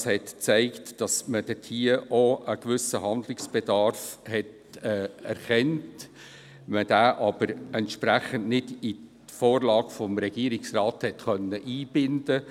Es hat sich gezeigt, dass man auch hier einen gewissen Handlungsbedarf erkannt hat, man diesen aber nicht entsprechend in die Vorlage des Regierungsrats hat einbinden können.